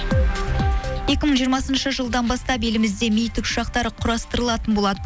екі мың жиырмасыншы жылдан бастап елімізде ми тікұшақтары құрастырылатын болады